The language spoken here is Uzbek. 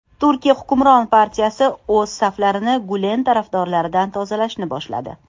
Turkiya hukmron partiyasi o‘z saflarini Gulen tarafdorlaridan tozalashni boshladi.